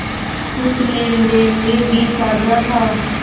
कुछ लेनदेन में भी साझा था